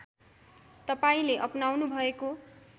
तपाईँले अपनाउनुभएको